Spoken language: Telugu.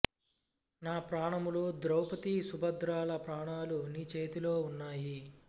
నా ప్రాణములు ద్రౌపది సుభద్రల ప్రాణాలు నీ చేతిలో ఉన్నాయి